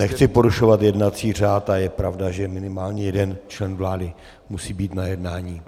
Nechci porušovat jednací řád a je pravda, že minimálně jeden člen vlády musí být na jednání.